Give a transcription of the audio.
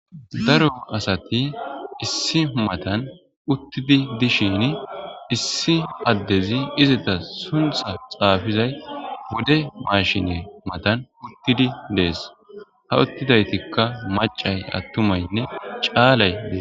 daro asati issi matan uttidi dishin issi addezi izita suntha xaafizay bude mashine matan uttidi dees ha uttidaytikka macay attumaynne caalay dee